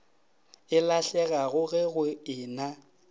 e lahlegago ge go ena